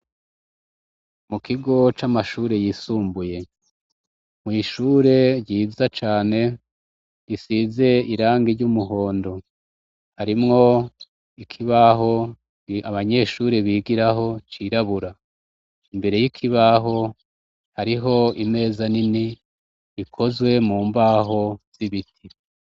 Mukigo camashure yisumbuye mwishure ryiza cane risize irangi ryumuhondo harimwo ikibaho abanyeshure bigiraho cirabura imbere yikibaho hariho imeza nini ikozwe mumbaho nibiti